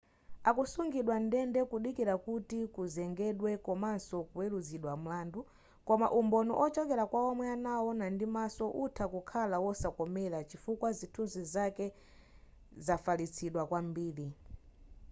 akusungidwa mndende kudikira kuti kuzengedwa komaso kuweruzidwa mlandu koma umboni ochokera kwaomwe anawona ndimaso utha kukhala wosawakomera chifukwa chithunzi chake chafalitsidwa kwambiri